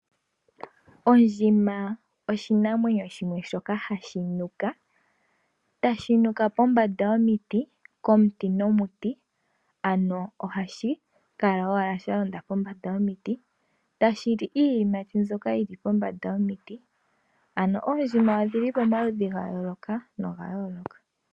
Ondjima oshinamwenyo shimwe shoka ha shi nuka, ya shi nuka pombanda yomiti, komuti nomuti, no ha shi kala owala sha londa kombanda yomiti, ya shi li iiyimati mbyoka yi li pombanda yomiti. Ano oondjima odhi li ko omaludhi ga yooloka no ga yooloka.